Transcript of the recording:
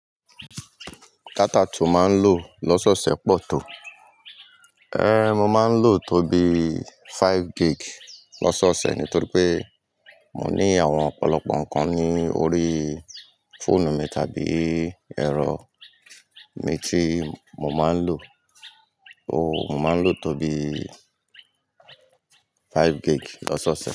Data tí ó máa ń lò lọ́sọ̀ọ̀sẹ̀ pọ̀ tó. Ée, mo máa ń lò tó bí five gig lọ́sọ̀ọ̀sẹ̀ nítorí pé mo ní àwọn ọ̀pọ̀lọpọ̀ nǹkan ní orí fóònù mi tàbí ẹ̀rọ mi tí mo máa ń lò. Ooo, mo máa ń lò tó bí five gig lọ́sọ̀ọ̀sẹ̀.